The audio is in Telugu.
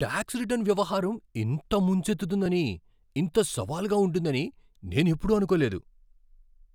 టాక్స్ రిటర్న్ వ్యవహారం ఇంత ముంచెత్తుతుందని, ఇంత సవాలుగా ఉంటుందని నేను ఎప్పుడూ అనుకోలేదు.